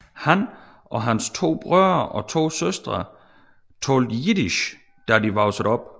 Han og hans to brødre og to søstre talte Jiddisch da de voksede op